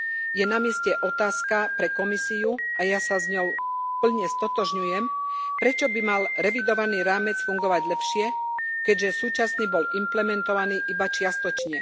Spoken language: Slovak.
je namieste otázka pre Komisiu a ja sa s ňou plne stotožňujem, prečo by mal revidovaný rámec fungovať lepšie, keďže súčasný bol implementovaný iba čiastočne.